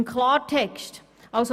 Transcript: Im Klartext heisst das: